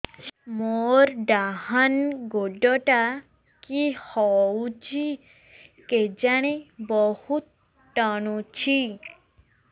ମୋର୍ ଡାହାଣ୍ ଗୋଡ଼ଟା କି ହଉଚି କେଜାଣେ ବହୁତ୍ ଟାଣୁଛି